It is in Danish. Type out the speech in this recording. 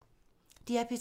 DR P3